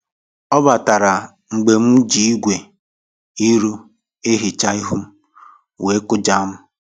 Ọ batara mgbe m ji igwe iru eficha ihu m, wee kụjaa m.